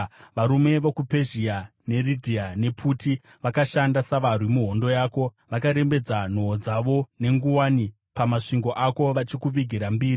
“ ‘Varume vokuPezhia, neRidhia nePuti vakashanda savarwi muhondo yako. Vakarembedza nhoo dzavo nenguwani pamasvingo ako, vachikuvigira mbiri.